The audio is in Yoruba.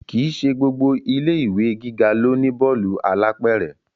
Kì í ṣe gbogbo ilé ìwé gíga ló ní bọ́ọ̀lù alápẹ̀rẹ̀